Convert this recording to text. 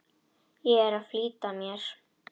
Ég er að flýta mér!